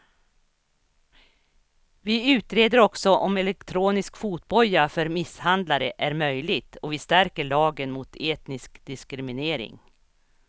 Vi utreder också om elektronisk fotboja för misshandlare är möjligt och vi stärker lagen mot etnisk diskriminering.